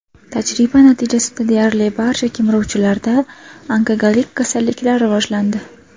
Tajriba natijasida deyarli barcha kemiruvchilarda onkologik kasalliklar rivojlandi.